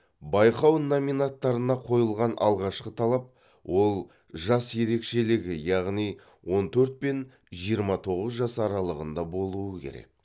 байқау номинаттарына қойылған алғашқы талап ол жас ерекшелігі яғни он төрт пен жиырма тоғыз жас аралығында болуы керек